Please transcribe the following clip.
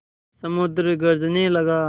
समुद्र गरजने लगा